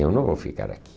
Eu não vou ficar aqui.